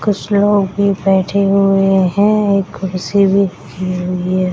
कुछ लोग भी बैठे हुए है एक कुर्सी भी रखी हुई है।